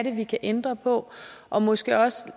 er vi kan ændre på og måske også